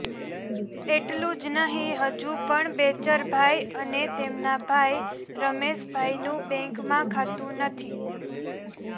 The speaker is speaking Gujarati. એટલું જ નહીં હજુ પણ બેચરભાઈ અને તેમના ભાઈ રમેશભાઈનું બેન્કમાં ખાતું નથી